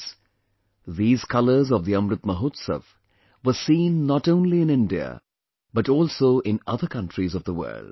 Friends, these colors of the Amrit Mahotsav were seen not only in India, but also in other countries of the world